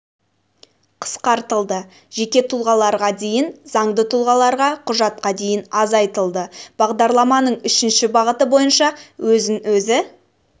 қысқартылды жеке тұлғаларға дейін заңды тұлғаларға құжатқа дейін азайтылды бағдарламаның үшінші бағыты бойынша өзін өзі